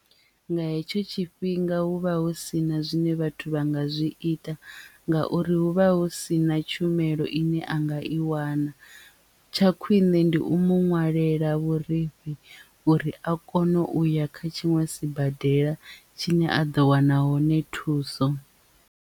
Nga hetsho tshifhinga hu vha hu sina zwine vhathu vha nga zwi ita ngauri hu vha hu sina tshumelo ine a nga i wana. Tsha khwiṋe ndi u mu ṅwalela vhurifhi uri a kone uya kha tshiṅwe sibadela tshine a ḓo wana hone thuso.